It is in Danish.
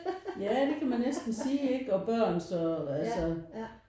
Ja det kan man næsten sige ikke og børn så altså